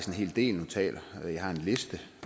hel del notater jeg har en liste